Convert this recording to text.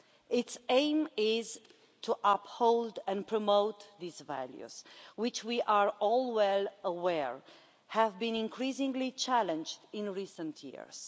Its aim is to uphold and promote these values, which, as we are all well aware, have been increasingly challenged in recent years.